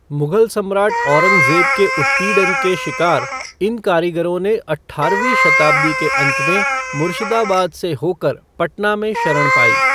मुगल सम्राट औरंगज़ेब के उत्पीड़न के शिकार इन कारीगरों ने अठ्ठारवीं शताब्दी के अंत में मुर्शीदाबाद से होकर पटना में शरण पाई।